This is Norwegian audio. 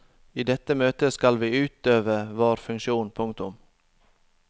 I dette møtet skal vi utøve vår funksjon. punktum